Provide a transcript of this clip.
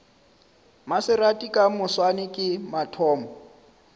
maserati ka moswane ke mathomo